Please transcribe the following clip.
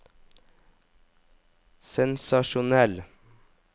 sensasjonell